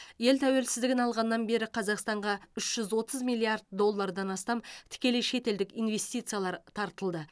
ел тәуелсіздігін алғаннан бері қазақстанға үш жүз отыз миллиард доллардан астам тікелей шетелдік инвестициялар тартылды